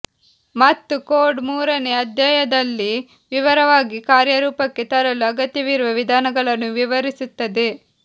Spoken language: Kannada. ಮತ್ತು ಕೋಡ್ ಮೂರನೇ ಅಧ್ಯಾಯದಲ್ಲಿ ವಿವರವಾಗಿ ಕಾರ್ಯರೂಪಕ್ಕೆ ತರಲು ಅಗತ್ಯವಿರುವ ವಿಧಾನಗಳನ್ನು ವಿವರಿಸುತ್ತದೆ